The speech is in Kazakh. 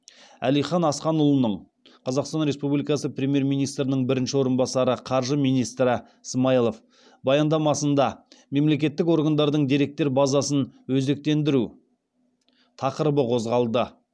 әлихан асханұлының баяндамасында мемлекеттік органдардың деректер базасын өзектендіру тақырыбы қозғалды